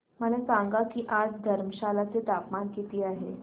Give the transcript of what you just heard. मला सांगा की आज धर्मशाला चे तापमान किती आहे